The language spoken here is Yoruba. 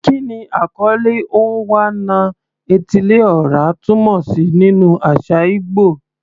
Kí ni àkọlé "Onwa-na-etili-ora" túmọ̀ sí nínú àṣà ìgbò?